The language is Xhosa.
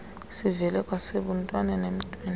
sivele kwasebuntwaneni emntwini